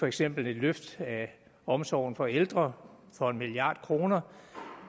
eksempelvis et løft af omsorgen for ældre for en milliard kroner